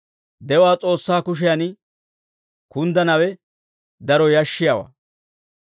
De'uwaa S'oossaa kushiyan kunddanawe daro yashshiyaawaa.